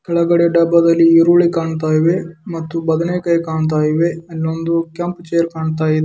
ಹೊಳಗಡೆ ಡಬ್ಬದಲ್ಲಿ ಈರುಳ್ಳಿ ಕಾನುತಾಯಿವೆ ಮತ್ತು ಬದನೆಕಾಯಿ ಕಾನುತಾಯಿವೆ ಇಲ್ಲಿ ಒಂದು ಕೆಂಪು ಚೈರ್ ಕಾಣುತ.